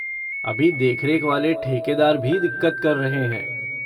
अभी देखरेख वाले ठेकेदार भी दिक़्क़त कर रहे हैं।